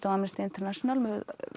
af Amnesty International með